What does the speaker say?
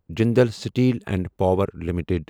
Jindal steel and power limited